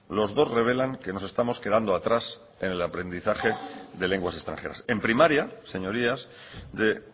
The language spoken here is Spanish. los dos revelan que nos estamos quedando atrás en el aprendizaje de lenguas extranjeras en primaria señorías de